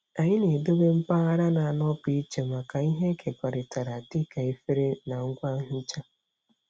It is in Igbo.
Anyị na-edobe mpaghara na-anọpụ iche maka ihe ekekọrịtara dịka efere na ngwa nhicha.